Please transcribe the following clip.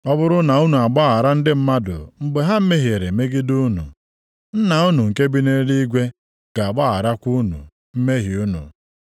Ọ bụrụ na unu agbaghara ndị mmadụ mgbe ha mehiere megide unu, Nna unu nke bi nʼeluigwe ga-agbagharakwa unu mmehie unu.